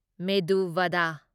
ꯃꯦꯗꯨ ꯚꯗ